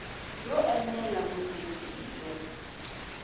byo enela vundzeni i byo